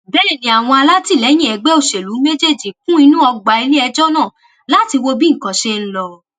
bẹẹ ni àwọn alátìlẹyìn ẹgbẹ òṣèlú méjèèjì kún inú ọgbà iléẹjọ náà láti wo bí nǹkan ṣe ń lọ